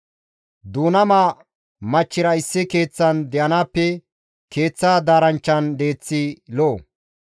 Duunama machchira issi keeththan de7anaappe keeththa daaranchchan deeththi lo7o.